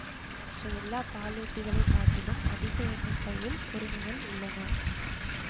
மற்ற எல்லா பாலூட்டிகளைக் காட்டிலும் அதிக எண்ணிக்கையில் கொறிணிகள் உள்ளன